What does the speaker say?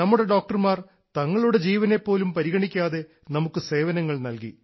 നമ്മുടെ ഡോക്ടർമാർ തങ്ങളുടെ ജീവനെ പോലും പരിഗണിക്കാതെ നമുക്ക് സേവനങ്ങൾ നൽകി